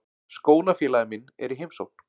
Skólafélagi minn er í heimsókn.